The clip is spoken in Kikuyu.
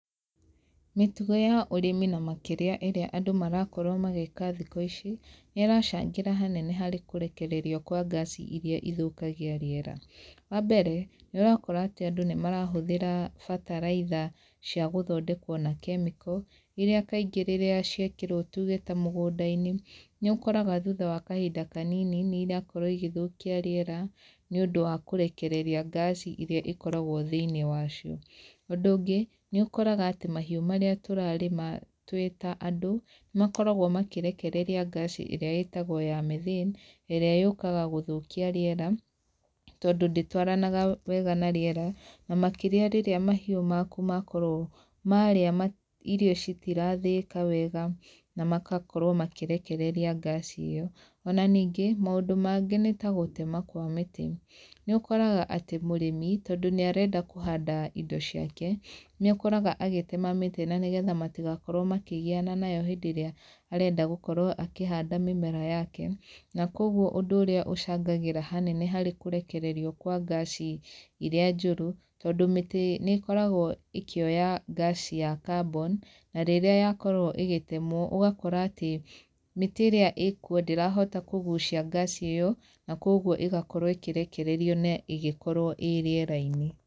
Mĩtugo ya ũrĩmi na makĩria ĩrĩa andũ marakorwo magĩka thikũ lci, nĩracangĩra hanene harĩ kũrekereria kwa ngaci iria ithũkagia rĩera, wa mbere, nĩ ũrakora atĩ andũ nĩ marahũthĩra bataraitha cia gũthondekwo na kemiko, iria kaingĩ rĩrĩa ciekĩrwo tuge ta mũgũnda-inĩ, nĩ ũkoraga thutha wa kahinda kanini nĩirakorwo igĩthũkia rĩera, nĩ ũndũ wa kũrekereria ngaci ĩrĩa ĩkoragwo thĩinĩ wacio, ũndũ ũngĩ, nĩ ũkoraga atĩ mahiũ marĩa tũrarĩma twĩ ta andũ, nĩ makoragwo makĩrekereria ngaci ĩrĩa ĩtagwo ya Methane, ĩrĩa yokaga gũthũkia rĩera, tondũ ndĩtwaranage wega na rĩera, na makĩria rĩrĩa mahiũ maku makorwo marĩa ma irio citirathĩĩka wega, na makakorwo makĩrekereria ngaci ĩyo, ona nĩngĩ, maũndũ mangĩ nĩ tagũtema kwa mĩtĩ, nĩ ũkoraga atĩ mũrĩmi tondũ nĩ arenda kũhanda indo ciake, nĩũkoraga agĩtema mĩtĩ, na nĩgetha matigakorwo makĩgiyana nayo hĩndĩ ĩrĩa arenda gũkorwo akĩhanda mĩmera yake, na kwoguo ũndũ ũrĩa ũcangagĩra hanene harĩ kũrekererio kwa ngaci iria njũru, tondũ mĩtĩ nĩ ĩkoragwo ĩkĩoya ngaci ya kaboni, na rĩrĩa yakorwo ĩgĩtemwo ũgakora atĩ mĩtĩ ĩrĩa ĩkwo ndĩrahota kũgucia ngaci ĩyo, na kwoguo ĩgakorwo ĩkĩrekererio na ĩgĩkorwo ĩrĩera-inĩ.